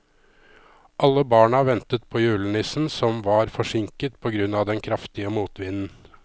Alle barna ventet på julenissen, som var forsinket på grunn av den kraftige motvinden.